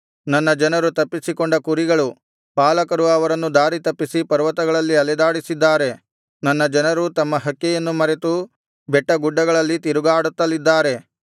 ನನ್ನ ಜನರು ತಪ್ಪಿಸಿಕೊಂಡ ಕುರಿಗಳು ಪಾಲಕರು ಅವರನ್ನು ದಾರಿತಪ್ಪಿಸಿ ಪರ್ವತಗಳಲ್ಲಿ ಅಲೆದಾಡಿಸಿದ್ದಾರೆ ನನ್ನ ಜನರು ತಮ್ಮ ಹಕ್ಕೆಯನ್ನು ಮರೆತು ಬೆಟ್ಟಗುಡ್ಡಗಳಲ್ಲಿ ತಿರುಗಾಡುತ್ತಲಿದ್ದಾರೆ